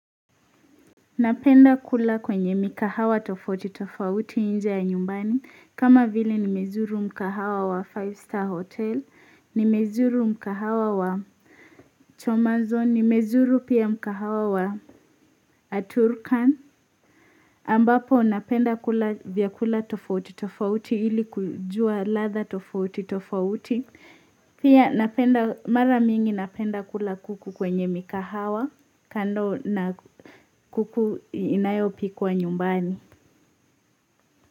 Napenda kula kwenye mikahawa tofauti tofauti nje ya nyumbani, kama vile nimezuru mkahawa wa Five Star Hotel, nimezuru mkahawa wa Chomazon, nimezuru pia mkahawa wa Aturkan. Ambapo napenda kula vyakula tofauti tofauti ili kujua ladha tofauti tofauti. Pia napenda mara mingi napenda kula kuku kwenye mikahawa kando na kuku inayopikwa nyumbani.